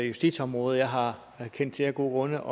justitsområdet jeg har kendt til af gode